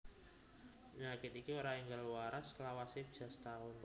Penyakit iki ora enggal waras lawase bisa setaun